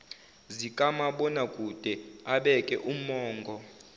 zikamabonakude abeke umongo